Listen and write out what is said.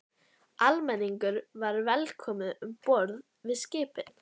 Almenningur var velkomin um borð í skipin.